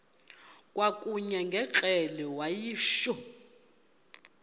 kwakanye ngekrele wayishu